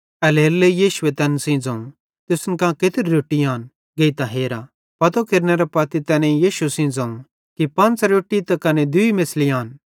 एल्हेरेलेइ यीशुए तैन सेइं ज़ोवं तुसन कां केत्री रोट्टी आन गेइतां हेरा पतो केरनेरे पत्ती तैनेईं यीशु सेइं ज़ोवं कि पंच़ रोट्टी त कने दूई मेछ़ली आन